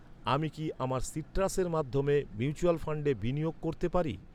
আমি কি আমার সিট্রাসের মাধ্যমে মিউচুয়াল ফান্ডে বিনিয়োগ করতে পারি?